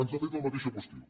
ens ha fet la mateixa qüestió